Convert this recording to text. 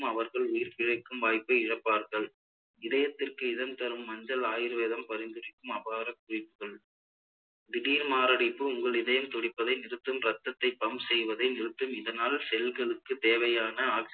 அவர்கள் உயிர் பிழைக்கும் வாய்ப்பை இழப்பார்கள் இதயத்திற்கு இதம் தரும் மஞ்சள் ஆயுர்வேதம் பரிந்துரைக்கும் அபார குறிப்புகள் திடீர் மாரடைப்பு உங்கள் இதயம் துடிப்பதை நிறுத்தும் இரத்தத்தை pump செய்வதை நிறுத்தும் இதனால் செல்களுக்கு தேவையான